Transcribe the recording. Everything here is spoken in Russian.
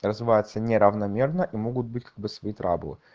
развивается неравномерно и могут быть как бы свои траблы